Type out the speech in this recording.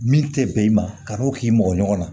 Min tɛ bɛn i ma kan'o k'i mɔgɔ ɲɔgɔn na